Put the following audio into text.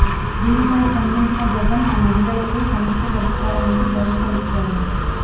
దీనిపై స్పందించిన జగన్ ఆ మహిళలకు సమస్య పరిష్కారానికి భరోసా ఇచ్చారు